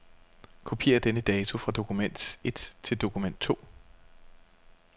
Kopier denne dato fra dokument et til dokument to.